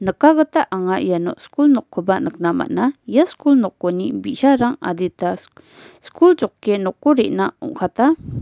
kagita anga iano skul nokkoba nikna man·a ia skul nokoni bi·sarang adita sik-skul joke noko re·na ong·kata.